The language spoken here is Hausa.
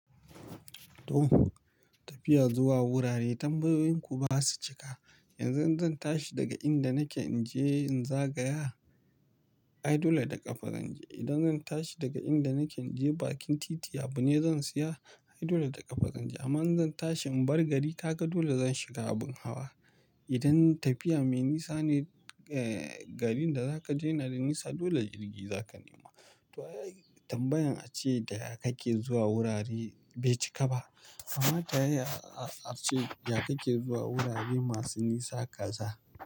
To tafiya zuwa wurare tambayoyin ku ba su cika. Yanzu in zan tashi daga inda nake in je in zagaya, ai dole da ƙafa zan je. Idan zan tashi daga inda nake in je bakin titi, abu ne zan siya ai dole da ƙafa zan je. Amma in zan tashi in bar gari ka ga dole zan shiga abin hawa. Idan tafiya mai nisa ne, eh, garin da zaka je yana da nisa dole jirgi zaka nema. To tambayan a ce da ya kake zuwa wurare bai cika ba. Amma ta ya a-a-a ce da ya kake zuwa wurare masu nisa ka za?